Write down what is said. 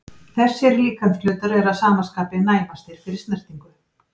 Þessir líkamshlutar eru að sama skapi næmastir fyrir snertingu.